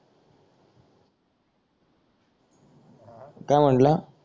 काय म्हंटला